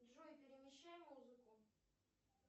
джой перемещай музыку